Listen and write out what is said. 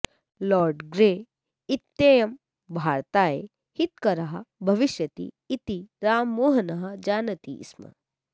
lord Grey इत्ययं भारताय हितकरः भविष्यति इति राममोहनः जानाति स्म